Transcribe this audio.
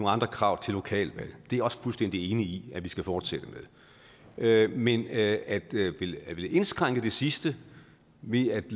andre krav til lokalvalg det er jeg også fuldstændig enig i at vi skal fortsætte med men at ville indskrænke det sidste ved at